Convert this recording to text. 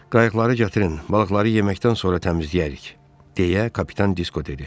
Qayıqları gətirin, balıqları yeməkdən sonra təmizləyərik, deyə kapitan Disko dedi.